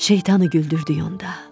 Şeytanı güldürdük onda.